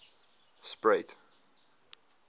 spruit